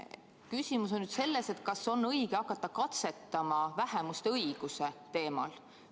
Küsimus on nüüd selles, kas on õige hakata katsetama vähemuste õiguste teemal.